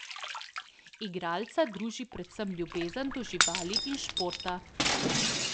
Igralca druži predvsem ljubezen do živali in športa.